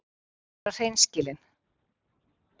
Hann ákveður að vera hreinskilinn.